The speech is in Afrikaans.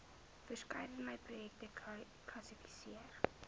verskeidenheid projekte kwalifiseer